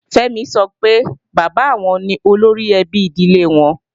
Fẹ́mi sọ pé bàbá àwọn ni olóríẹbí ìdílé àwọn